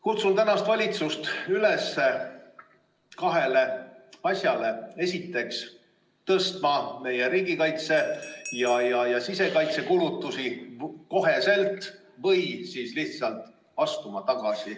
Kutsun tänast valitsust üles tegema kahte asja: esiteks tõstma kohe meie riigikaitse- ja sisekaitsekulutusi või siis lihtsalt tagasi astuma.